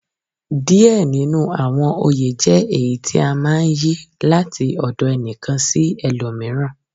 Diẹ ninu awọn oyè jẹ èyí tí a máa ń yí, láti ọ̀dọ̀ ẹnìkan sí ẹlòmíràn.